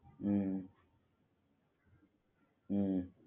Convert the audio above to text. હુ હુ